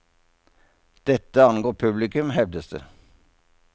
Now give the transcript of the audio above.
Dette angår publikum, hevdes det.